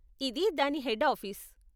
ఇది దాని head office.